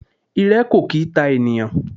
Irẹ kò kì í ta ènìyàn.